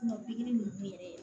Kuma pikiri ninnu bi kɛ